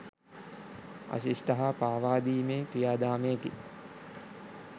අශිෂ්ට හා පාවාදීමේ ක්‍රියාදාමයකි